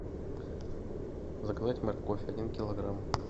заказать морковь один килограмм